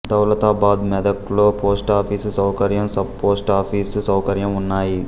దౌలతాబాద్ మెదక్లో పోస్టాఫీసు సౌకర్యం sub post office సౌకర్యం ఉన్నాయి